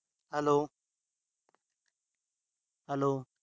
hello hello